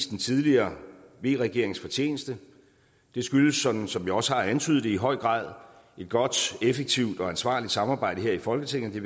den tidligere v regerings fortjeneste det skyldes som som jeg også har antydet det i høj grad et godt effektivt og ansvarligt samarbejde her i folketinget